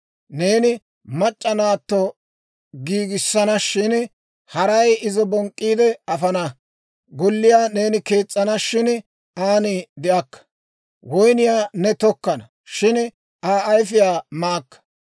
«Neeni mac'c'a naatto giigissana shin, haray izo bonk'k'iide afana. Golliyaa neeni kees's'ana; shin aan de'akka. Woynniyaa ne tokkana; shin Aa ayfiyaa maakka.